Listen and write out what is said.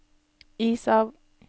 is av